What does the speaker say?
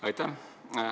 Aitäh!